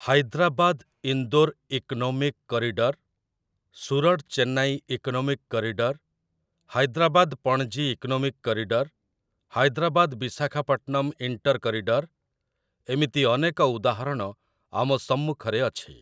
Hyderabad Indore economic corridor, Surat Chennai economic corridor, Hyderabad Panaji economic corridor, Hyderabad Visakhapatnam inter corridor, ଏମିତି ଅନେକ ଉଦାହରଣ ଆମ ସମ୍ମୁଖରେ ଅଛି ।